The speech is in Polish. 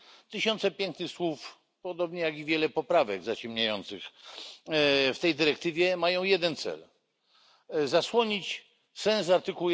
Tysiące pięknych słów podobnie jak i wiele poprawek zaciemniających w tej dyrektywie mają jeden cel zasłonić sens art.